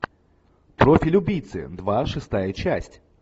профиль убийцы два шестая часть